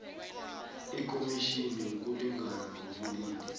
ikhomitjhini yokulingana ngokobulili